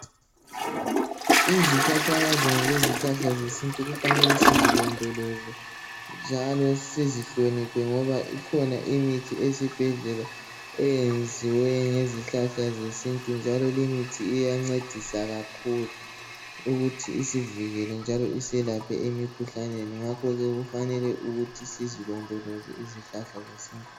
Izihlahlakazana lezihlahla zesintu kufanele sizilondoloze ,njalo sizihloniphe ngoba ikhona imithi ezibhedlela eyenziwe ngezihlahla zesintu njalo limithi iyancedisa kakhulu ukuthi isivikele njalo iselaphe emkhuhlaneni ngakhoke kufanele ukuthi sizilondoloze izihlahla zesintu .